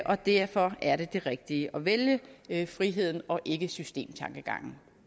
og derfor er det det rigtige at vælge friheden og ikke systemtankegangen